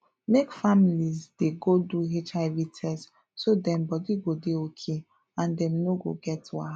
make families dey go do hiv test so dem body go dey okay and dem no go get wahala